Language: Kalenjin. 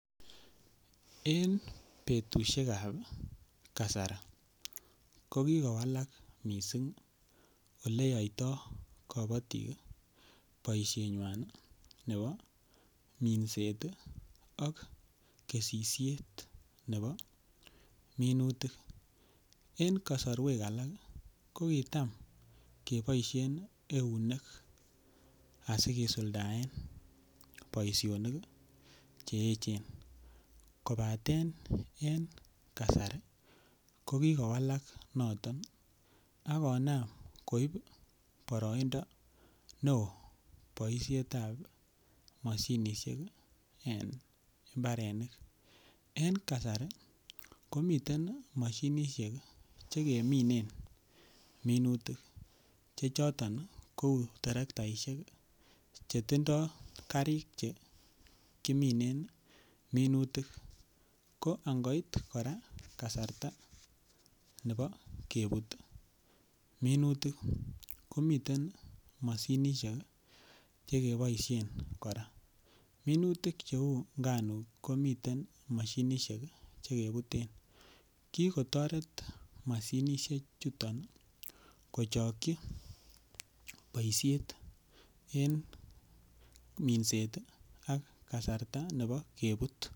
En komosuek cheisuldaen kabatisiet chebo minutik en kakmasuek chechang en emeetab Kenya ih. Kotindo ih anan kikochob baisietab banganutikab ih cheyae en nyorunetab ih mashinisiekab imbar. Kibakengeisiek chuton ih kotareti temik koker kole kaisuldaen icheket temisiet nyuan ih en oret ne nyalu. Kikonde icheket ih arorutik cheisubi anan cheker kole kanyorchike mashinisiek chebaisien en imbarenikuak ih choton ko cheuu terektaisiek cheboisoen en kabatisiet kikoyum icheket rabisiek en kurupisiek ak konam koal mashinisiek chebo imbarenik anan chekitemisien ak kora chekikesisien kurupisiekkab kibakenge kora kotareti kokachi temik cheboisoen en kabatisiet.